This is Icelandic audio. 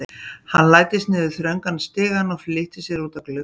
Hann læddist niður þröngan stigann og flýtti sér út að glugganum.